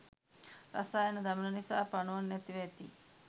රසායන දමන නිසා පණුවන් නැතිව ඇති.